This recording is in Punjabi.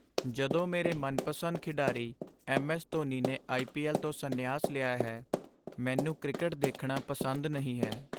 ਜਦੋਂ ਤੋਂ ਮੇਰੇ ਮਨਪਸੰਦ ਖਿਡਾਰੀ ਐੱਮ. ਐੱਸ. ਧੋਨੀ ਨੇ ਆਈ. ਪੀ. ਐੱਲ. ਤੋਂ ਸੰਨਿਆਸ ਲਿਆ ਹੈ, ਮੈਨੂੰ ਕ੍ਰਿਕਟ ਦੇਖਣਾ ਪਸੰਦ ਨਹੀਂ ਹੈ।